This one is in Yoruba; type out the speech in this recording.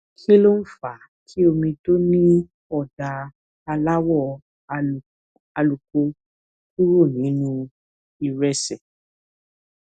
kí ló ń fa kí omi tó ní òdà aláwò àlùkò kúrò nínú ìrẹsè